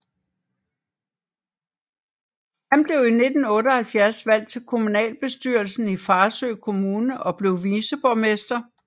Han blev i 1978 valgt til kommunalbestyrelsen i Farsø Kommune og blev viceborgmester